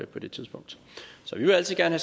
på det tidspunkt vi vil altid gerne